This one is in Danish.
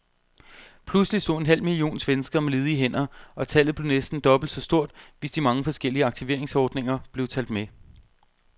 Pludselig stod en halv million svenskere med ledige hænder, og tallet blev næsten dobbelt så stort, hvis de mange forskellige aktiveringsordninger blev talt med.